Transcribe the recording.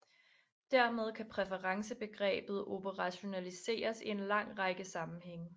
Dermed kan præferencebegrebet operationaliseres i en lang række sammenhænge